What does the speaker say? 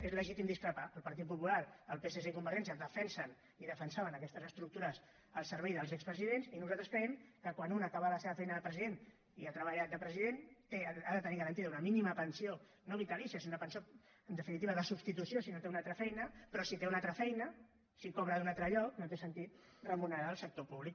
és legítim discrepar ne el partit popular el psc i convergència defensen i defensaven aquestes estructures al servei dels expresidents i nosaltres creiem que quan un acaba la seva feina de president i ha treballat de president ha de tenir garantida una mínima pensió no vitalícia sinó una pensió en definitiva de substitució si no té una altra feina però si té una altra feina si cobra d’un altre lloc no té sentit remunerar del sector públic